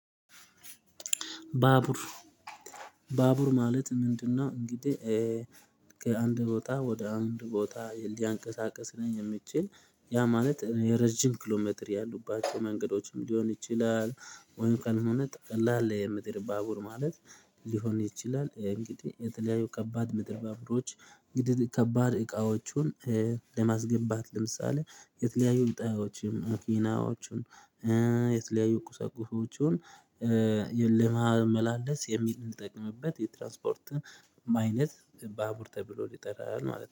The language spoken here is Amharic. ባቡር ባቡር ማለት ምንድነው? እንግዲህ ከአንድ ቦታ ወደ አንድ ቦታ ሊያንቀሳቅሰኝ የሚችል ያ ማለት የረጅም ኪሎሜትር ያሉባቸው መንገዶችም ሊሆን ይችላል። ወይም ቀን ሁነት ቀላል ላይ የምድር ባቡር ማለት ሊሆን ይችላል። እንግዲህ የተለያዩ ከባድ ምድር ባብሮች እንግዲህ ከባድ እቃዎቹን ለማስገባት ለምሳሌ የተለያዩ እቃወቹን መኪናዎቹን የተለያዩ ቁሰቁሶቹን ለማመላለስ የሚጠቅምበት የትራንስፖርት አይነት ባቡር ተብሎ ይጠራል ማለት ነው